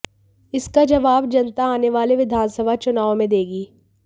इसका जवाब जनता आने वाले विधानसभा चुनावों में देगी